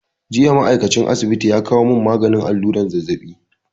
Jiya ma'aikacin asibiti ya kawo mun maganin allura zazzabi